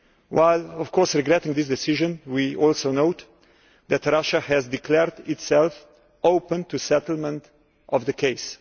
While, of course, regretting this decision, we also note that Russia has declared itself open to settlement of the case.